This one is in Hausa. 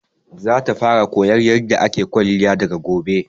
Za ta fara koyan yarda ake kwalliya daga gobe